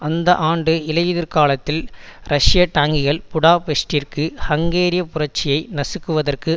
அந்த ஆண்டு இலையுதிர்காலத்தில் ரஷிய டாங்கிகள் புடாபெஸ்ட்டிற்கு ஹங்கேரிய புரட்சியை நசுக்குவதற்கு